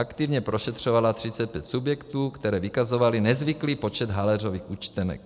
Aktivně prošetřovala 35 subjektů, které vykazovaly nezvyklý počet haléřových účtenek.